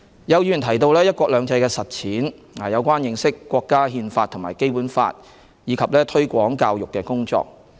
有議員提到"一國兩制"的實踐、有關認識國家《憲法》及《基本法》，以及推廣教育的工作。